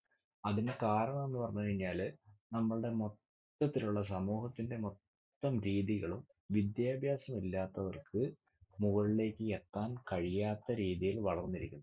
അതിന് കാരണമെന്ന് പറഞ്ഞ് കഴിഞ്ഞാൽ നമ്മളുടെ മൊത്തത്തിലുള്ള സമൂഹത്തിന്റെ മൊത്തം ഭീതികളും വിദ്യാഭ്യാസം ഇല്ലാത്തവർക്ക് മുകളിലേക്ക് എത്താൻ കഴിയാത്ത രീതിയിൽ വളർന്നിരിക്കുന്നു.